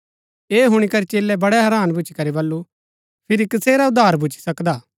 ऐह हुणी करी चेलै बड़ै हैरान भूच्ची करी बल्लू फिरी कसेरा उद्धार भूच्ची सकदा